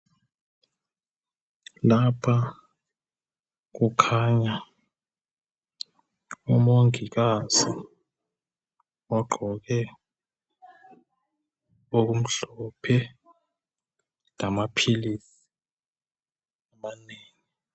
Lapha kukhanya umongikazi ogqoke okumhlophe lamaphilisi amanengi.